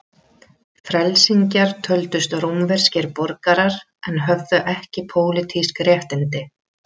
Frelsingjar töldust rómverskir borgarar en höfðu ekki pólitísk réttindi.